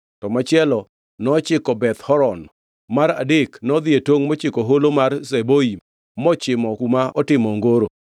to machielo nochiko Beth Horon mar adek nodhi e tongʼ mochiko Holo mar Zeboim mochimo kuma otimo ongoro.